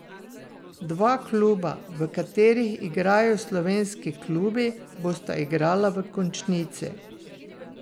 Dva kluba, v katerih igrajo slovenski klubi, bosta igrala v končnici.